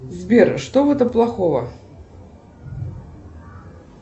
сбер что в этом плохого